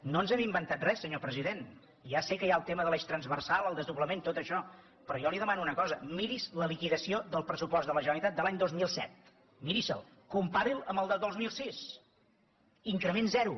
no ens hem inventat res senyor president ja sé que hi ha el tema de l’eix transversal el desdoblament tot això però jo li demano una cosa miri’s la liquidació del pressupost de la generalitat de l’any dos mil set miri se’l compari’l amb el del dos mil sis increment zero